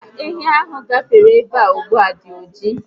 Mba, ehi ahụ gafere ebea ugbua dị oji